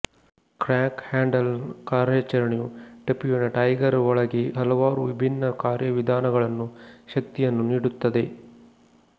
crank ಹ್ಯಾಂಡಲ್ನ ಕಾರ್ಯಾಚರಣೆಯು ಟಿಪ್ಪುವಿನ ಟೈಗರ್ ಒಳಗೆ ಹಲವಾರು ವಿಭಿನ್ನ ಕಾರ್ಯವಿಧಾನಗಳನ್ನು ಶಕ್ತಿಯನ್ನು ನೀಡುತ್ತದೆ